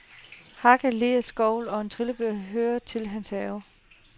Hakker, leer, skovle og en trillebør, hører til hans have.